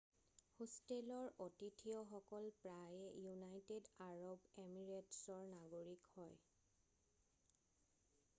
হোষ্টেলৰ অতিথিয়কল প্ৰায়ে ইউনাইটেড আৰব এমিৰেটছৰ নাগৰিক হয়